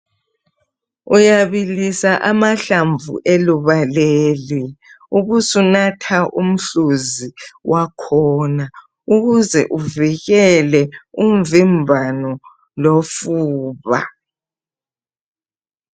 Uyabilisa amahlamvu eluba leli ubusunatha umhluzi wakhona .Ukuze ukuze uvikele umvimbano lofuba.